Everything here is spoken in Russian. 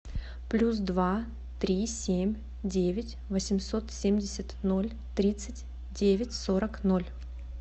плюс два три семь девять восемьсот семьдесят ноль тридцать девять сорок ноль